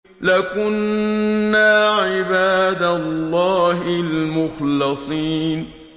لَكُنَّا عِبَادَ اللَّهِ الْمُخْلَصِينَ